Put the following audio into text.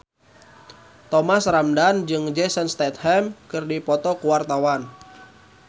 Thomas Ramdhan jeung Jason Statham keur dipoto ku wartawan